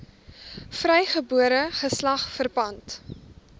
vrygebore geslag verpand